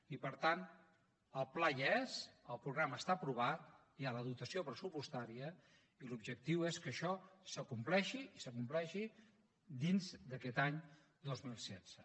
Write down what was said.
i per tant el pla hi és el programa està aprovat hi ha la dotació pressupostària i l’objectiu és que això s’acompleixi i s’acompleixi dins d’aquest any dos mil setze